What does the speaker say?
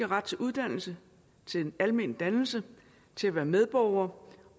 ret til uddannelse til almen dannelse til at være medborgere